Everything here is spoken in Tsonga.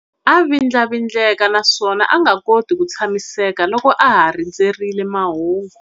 A vindlavindleka naswona a nga koti ku tshamiseka loko a ha rindzerile mahungu.